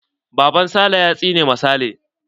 Baban sale ya tsine ma sale.